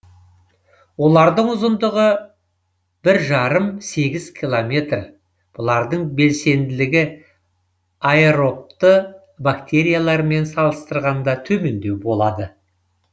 олардың ұзындығы бір жарым сегіз километр бұлардың белсенділігі аэробты бактериялармен салыстырғанда төмендеу болады